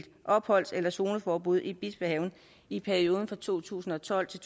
opholds eller zoneforbud i bispehaven i perioden to tusind og tolv til